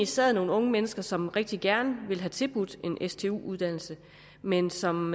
sad nogle unge mennesker som egentlig rigtig gerne ville have tilbudt en stu uddannelse men som